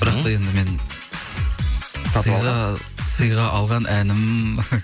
бірақ та енді мен сыйға алған әнім